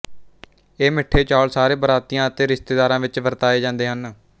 ਇਹ ਮਿੱਠੇ ਚੌਲ ਸਾਰੇ ਬਰਾਤੀਆਂ ਅਤੇ ਰਿਸ਼ਤੇਦਾਰਾਂ ਵਿੱਚ ਵਰਤਾਏ ਜਾਂਦੇ ਹਨ